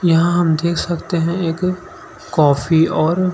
यहाँ हम देख सकते है एक कॉफी और--